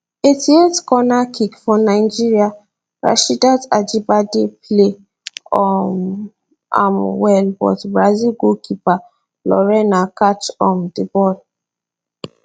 eighty eight corner kick for nigeria rasheedat ajibade play um am well but brazil goalkeeper lorena catch um di ball